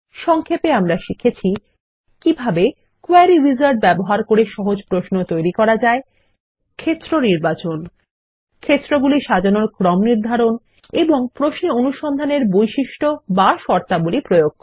সংক্ষেপে আমরা শিখেছি কিভাবে160 কোয়েরী উইজার্ড ব্যবহার করে সহজ প্রশ্ন তৈরী করা যায় ক্ষেত্র নির্বাচন ক্ষেত্রগুলি সাজানোর ক্রম নির্ধারণ এবং প্রশ্নে অনুসন্ধানের বৈশিষ্ট বা শর্তাবলী প্রয়োগ করা